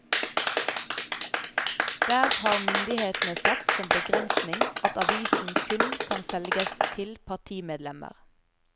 Der har myndighetene satt som begrensning at avisen kun kan selges til partimedlemmer.